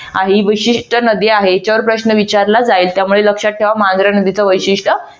आहे विशिष्ट नदी आहे. याच्यावर प्रश्न विचारला जाईल. त्यामुळे लक्षात ठेवा मांजरा नदीचे वैशिष्ट्य